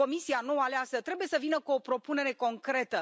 Comisia nou aleasă trebuie să vină cu o propunere concretă.